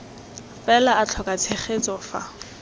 fela a tlhoka tshegetso fa